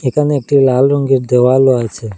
এখানে একটি লাল রঙ্গের দেওয়ালও আছে।